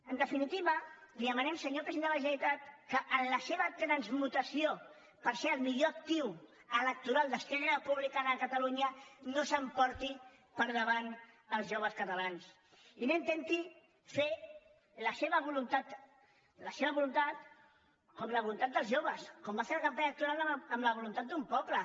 en definitiva li demanem senyor president de la generalitat que en la seva transmutació per ser el millor actiu electoral d’esquerra republicana de catalunya no s’emporti per davant els joves catalans i que no intenti fer la seva voluntat la seva voluntat com la voluntat dels joves com va fer en la campanya electoral amb la voluntat d’un poble